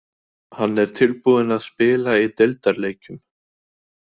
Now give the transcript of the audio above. Hann er tilbúinn að spila í deildarleikjum.